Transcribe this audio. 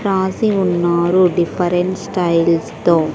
రాసి ఉన్నారు different style తో.